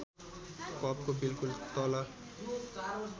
कपको बिल्कुल तल